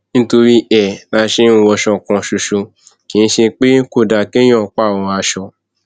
nítorí ẹ la ṣe ń wọṣọ kan ṣoṣo kì í ṣe pé kò dáa kéèyàn pààrọ aṣọ